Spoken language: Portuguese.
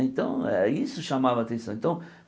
Então, eh isso chamava a atenção então.